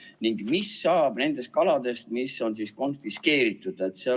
Ning mis saab nendest kaladest, mis on konfiskeeritud?